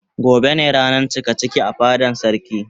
Gobe ne ranan cikaciki a fadan sarki.